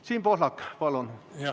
Siim Pohlak, palun!